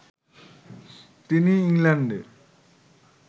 তিনি ইংল্যান্ডে